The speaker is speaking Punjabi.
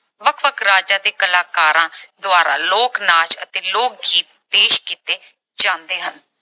ਵੱਖ-ਵੱਖ ਰਾਜਾਂ ਦੇ ਕਲਾਕਾਰਾਂ ਦੁਆਰਾ ਲੋਕ-ਨਾਚ ਅਤੇ ਲੋਕ-ਗੀਤ ਪੇਸ਼ ਕੀਤੇ ਜਾਂਦੇ ਹਨ।